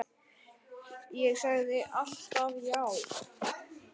Ég sagði alltaf já.